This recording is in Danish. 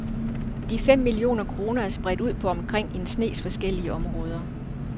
De fem millioner kroner er spredt ud på omkring en snes forskellige områder.